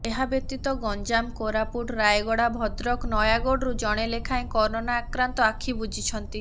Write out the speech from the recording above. ଏହାବ୍ୟତୀତ ଗଞ୍ଜାମ କୋରାପୁଟ ରାୟଗଡ଼ା ଭଦ୍ରକ ନୟାଗଡ଼ରୁ ଜଣେ ଲେଖାଏ କରୋନା ଆକ୍ରାନ୍ତ ଆଖି ବୁଜିଛନ୍ତି